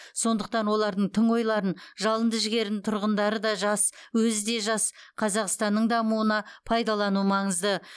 сондықтан олардың тың ойларын жалынды жігерін тұрғындары да жас өзі де жас қазақстанның дамуына пайдалану маңызды